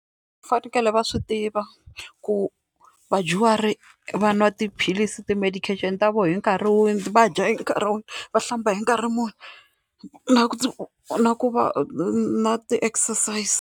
Va fanekele va swi tiva ku vadyuhari va nwa tiphilisi ti-medication ta vona hi nkarhi wihi, va dya hi nkarhi wihi, va hlamba hi nkarhi muni, na ku na ku va na ti-exercises.